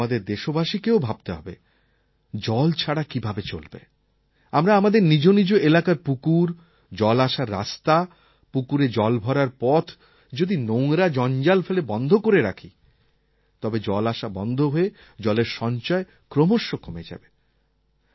কিন্তু আমাদের দেশবাসীকেও ভাবতে হবে জল ছাড়া কীভাবে চলবে আমরা আমাদের নিজ নিজ এলাকার পুকুর জল আসার রাস্তা পুকুরে জল ভরার পথ যদি নোংরা জঞ্জাল ফেলে বন্ধ করে রাখি তবে জল আসা বন্ধ হয়ে জলের সঞ্চয় ক্রমশ কমে যাবে